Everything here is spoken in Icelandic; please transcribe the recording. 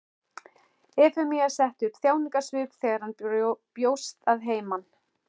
Efemía setti upp þjáningarsvip þegar hann bjóst að heiman.